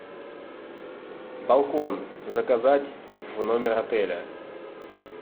балкон заказать в номер отеля